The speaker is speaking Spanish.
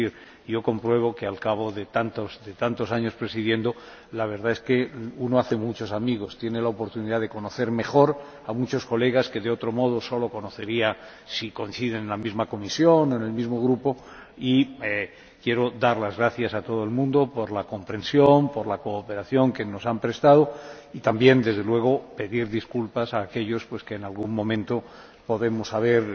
He podido comprobar que, al cabo de tantos años presidiendo, la verdad es que uno hace muchos amigos y tiene la oportunidad de conocer mejor a muchos diputados a los que, de otro modo, solo habría conocido si hubiéramos coincidido en la misma comisión o en el mismo grupo. Quiero dar las gracias a todo el mundo por la comprensión, por la cooperación que nos han prestado y también, desde luego, pedir disculpas a aquellos a los que en algún momento haya podido haber